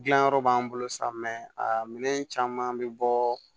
Dilanyɔrɔ b'an bolo sa a minɛn caman bɛ bɔ